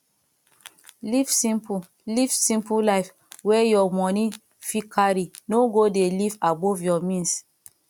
live simple live simple life wey your money fit carry no go dey live above your means